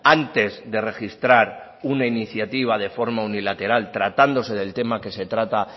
antes de registrar una iniciativa de forma unilateral tratándose del tema que se trata